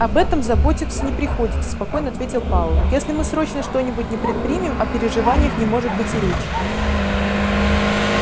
об этом заботиться не приходится спокойно ответил пауэлл если мы срочно что-нибудь не предпримем о переживаниях не может быть и речи